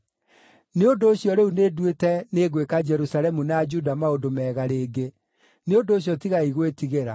“nĩ ũndũ ũcio rĩu nĩnduĩte nĩngwĩka Jerusalemu na Juda maũndũ mega rĩngĩ. Nĩ ũndũ ũcio tigai gwĩtigĩra.